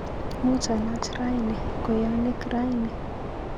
Muuch alaach raini kweyonik raini